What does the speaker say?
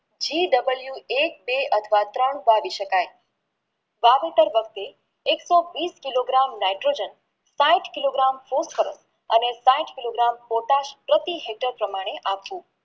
GW એક બે અથવા ત્રણ વાવી શકાય વાવેતર વાંકતે એક સો વિષ કિલો miterVibrator પાંચ કિલો miter મૂંગફળી અને પછી કિલો miter પોટાશ પ્રતિ miter પ્રમાણે આપવું